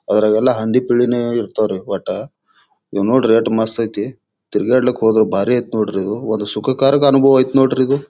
ಅದ್ರಗೆಲ್ಲೆ ಹಂದಿ ಪಿಳ್ಳೆನೆ ಇರ್ತಾವ್ರಿ ಒಟ್ಟ ಇವ್ ನೋಡ್ರಿ ಯೆಟ್ ಮಸ್ತ್ ಐತ್ರಿ ತಿರ್ಗಾಡ್ಲಿಕ್ ಹೋದ್ರ ಬಾರಿ ಐತ್ ನೋಡ್ರಿ ಇವು ಒಂದು ಸುಕಕರಿಕ ಅನುಭವ ಅಯ್ತ್ರಿ ನೋಡ್ರಿ ಇದು.